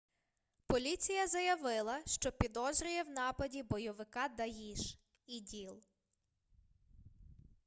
поліція заявила що підозрює в нападі бойовика даїш іділ